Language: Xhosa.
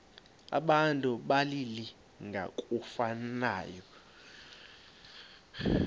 abantu abalili ngokufanayo